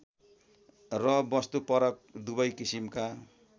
र वस्तुपरक दुवै किसिमका